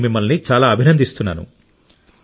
నేను మిమ్మల్ని చాలా అభినందిస్తున్నాను